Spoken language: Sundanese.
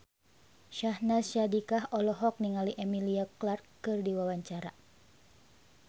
Syahnaz Sadiqah olohok ningali Emilia Clarke keur diwawancara